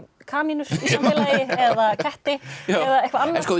kanínur í samfélagi eða ketti eða eitthvað annað